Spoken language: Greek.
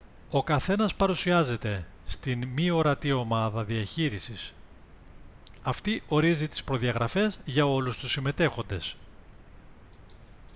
ο καθένας παρουσιάζεται στην «μη ορατή ομάδα» διαχείρισης. αυτή ορίζει τις προδιαγραφές για όλους τους συμμετέχοντες